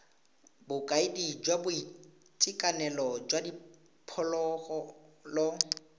bokaedi jwa boitekanelo jwa diphologolo